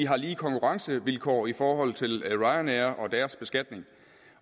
har lige konkurrencevilkår i forhold til ryanair og deres beskatning